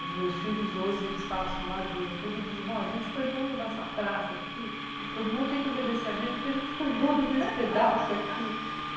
Os meus filhos hoje, eles passam lá de vez em quando e dizem, bom, a gente foi dono dessa praça aqui, todo mundo tem que obedecer a gente, porque a gente foi dono desse pedaço aqui